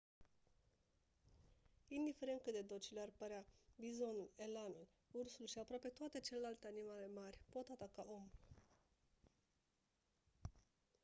indiferent cât de docile ar părea bizonul elanul ursul și aproape toate celelalte animale mari pot ataca omul